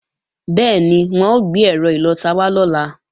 Bẹ́ẹ̀ni, wọ́n ó gbé ẹ̀rọ ìlọta wá lọ́la